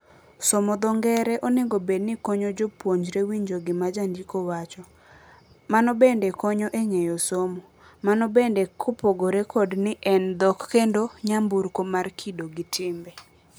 Somo dho ngere onego bed ni konyo jopuonjre winjo gima jandiko wacho. Mano bende konyo e ng'eyo somo. Mano bende kopogore kod ni en dhok kendo nyamburko mar kido gi timbe.